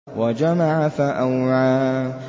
وَجَمَعَ فَأَوْعَىٰ